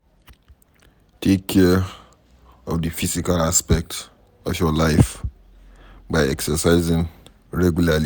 Take care of di physical aspect of your life by exercising regularly